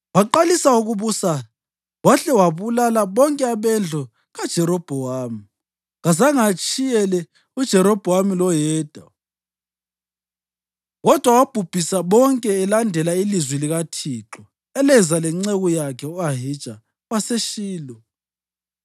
Waqalisa ukubusa wahle wabulala bonke abendlu kaJerobhowamu. Kazange atshiyele uJerobhowamu loyedwa kodwa wabhubhisa bonke elandela ilizwi likaThixo eleza lenceku yakhe u-Ahija waseShilo